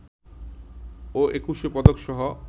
ও Ekushey পদকসহ